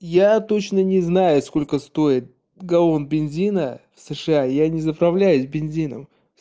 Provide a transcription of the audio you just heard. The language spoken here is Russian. я точно не знаю сколько стоит галлон бензина в сша я не заправляюсь бензином